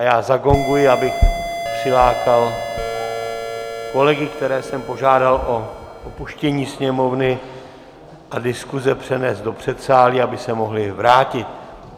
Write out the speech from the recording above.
A já zagonguji, abych přilákal kolegy, které jsem požádal o opuštění sněmovny a diskuse přenést do předsálí, aby se mohli vrátit.